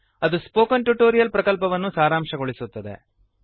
httpspoken tutorialorgWhat is a Spoken Tutorial ಅದು Spoken Tutorial ಪ್ರಕಲ್ಪವನ್ನು ಸಾರಾಂಶಗೊಳಿಸುತ್ತದೆ